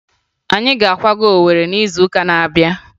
Anyị ga-akwaga Owere n'izuụka na-abịa